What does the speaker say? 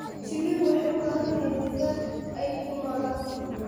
Shinnidu waxay u baahan tahay deegaan ay ku noolaato.